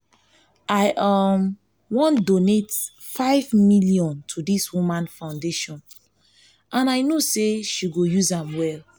i um wan um donate five million to dis woman foundation and i know say she go use am well